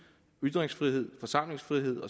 ytringsfrihed forsamlingsfrihed